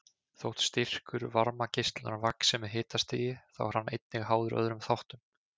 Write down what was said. Þótt styrkur varmageislunar vaxi með hitastigi þá er hann einnig háður öðrum þáttum.